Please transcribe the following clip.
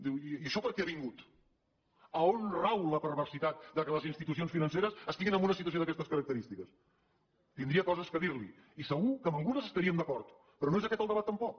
diu i això per què ha vingut a on rau la perversitat que les institucions financeres estiguin en una situació d’aquestes característiques tindria coses a dir li i segur que en algunes estaríem d’acord però no és aquest el debat tampoc